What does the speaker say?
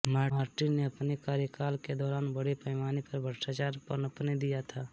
Martin ने अपने कार्यकाल के दौरान बड़े पैमाने पर भ्रष्टाचार पनपने दिया था